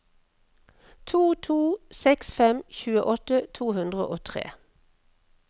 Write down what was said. to to seks fem tjueåtte to hundre og tre